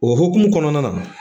O hukumu kɔnɔna na